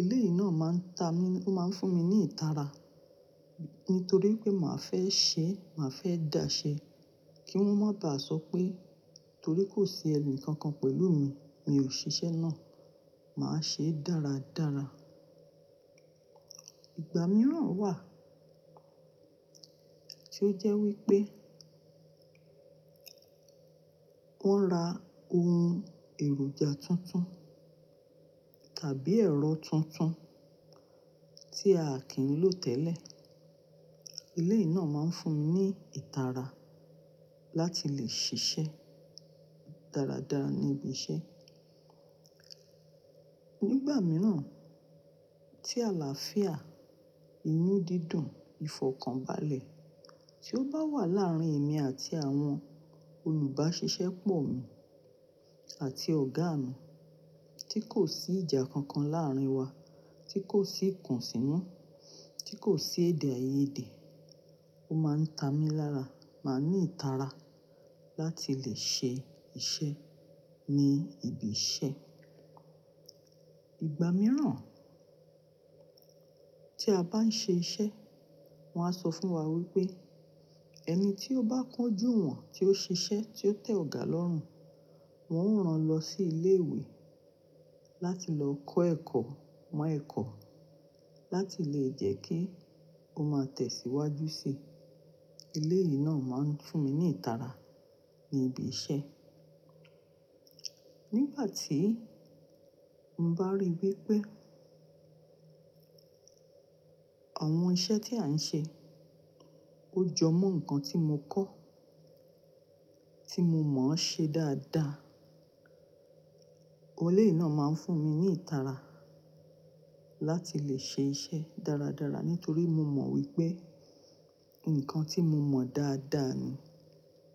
Eléyìí náà máa ń ta mi, ó máa ń fún mi ní ìtara nítorí pé màá fẹ́ ṣe, màá fẹ́ dà ṣe kí wón má dà sọ pé torí kò sí ẹni kankan pẹ̀lú mi, mi ò ṣe iṣẹ́ náà. Màá ṣe é dáradára. Ìgbà mìíràn wà tí ó jẹ́ wípé wọ́n ra ohun èròjà tuntun tàbí ẹ̀rọ tuntun tí a kì í lò tẹ́lẹ̀. Eléyìí náà máa ń fún mi ní ìtara láti lè ṣiṣẹ́ dáradára ní ibi iṣẹ́. Nígbà mìíràn tí àlàáfíà, inú dídùn, ìfọ̀kànbalẹ̀ tí ó bá wà láàrín èmi àti àwọn olùbáṣiṣẹ́ pọ̀ mi àti ọ̀gá mi tí kò sí ìjà kankan láàrín wa, tí kò sí ìkùnsínú, tí kò sí èdè-àìyedè, ó máa ń ta mi lára, màá ní ìtara láti lè ṣe iṣẹ́ ní ibi iṣẹ́. Ìgbà mìíràn tí a bá ń ṣe iṣẹ́, wọ́n á sọ fún wa wípé ẹni tí ó bá kojú wọn, tí ó ṣiṣẹ́, tí ó tẹ̀ ọ̀gá lọ́rùn, wọn ó rán lọ sí ilé ìwé láti lọ kọ́ ẹ̀kọ́, mọ ẹ̀kọ́ láti lè jẹ́ kí ó máa tẹ̀síwájú sí i. Eléyìí náà máa ń fún mi ní ìtara ní ibi iṣẹ́. Nígbà tí mo bá ríi wípé àwọn iṣẹ́ tí à ń ṣe ó jọ mọ́ nǹkan tí mo kọ́, tí mo mọ̀ ọ́n ṣe dáadáa, eléyìí náà máa ń fún mi ní ìtara láti lè ṣe iṣẹ́ dáradára nítorí mo mọ̀ wípé nǹkan tí mo mọ̀ dáadáa ni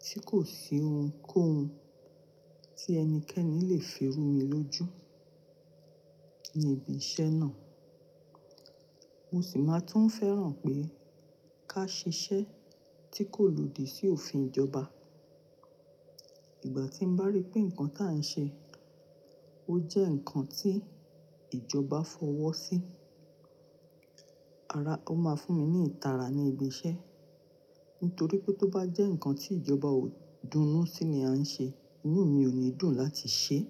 tí kò sí ohun kó ohun tí ẹnikẹ́ni lè fi rú mi lójú ní ibi iṣẹ́ náà. Mo sì máa tún fẹ́ràn pé ká ṣe iṣẹ́ tí kò lòdì sí òfin ìjọba. Ìgbà tí mo bá ríi pé nǹkan tí à ń ṣe ó jẹ́ nǹkan tí ìjọba fọwọ́ sí, ara, ó máa fún mi ní ìtara ní ibi iṣẹ́ nítorí pé tó bá jẹ́ nǹkan tí ìjọba ó dùnú sí ni a ń ṣe, inú mi ò ní dùn láti ṣe é.